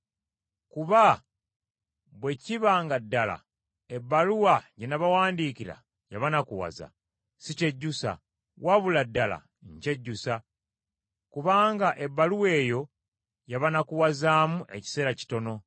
Kuba bwe kiba nga ddala ebbaluwa gye nnabawandiikira yabanakuwaza, sikyejjusa; wabula ddala nkyejjusa, kubanga ebbaluwa eyo yabanakuwazaamu ekiseera kitono.